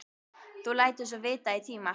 Þú lætur svo vita í tíma.